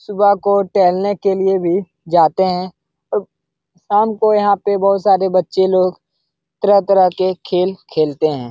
सुबह को टहलने के लिए भी जाते हैं और शाम को यहाँ पे बहुत सारे बच्चें लोग तरह-तरह के खेल खेलते हैं।